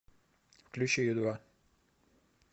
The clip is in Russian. включи ю два